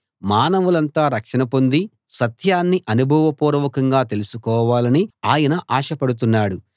మానవులంతా రక్షణ పొంది సత్యాన్ని అనుభవపూర్వకంగా తెలుసుకోవాలని ఆయన ఆశపడుతున్నాడు